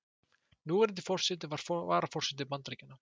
Núverandi forseti og varaforseti Bandaríkjanna.